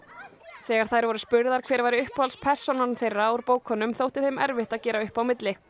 þegar þær voru spurðar hver væri uppáhalds persónan þeirra úr bókunum þótti þeim erfitt að gera upp á milli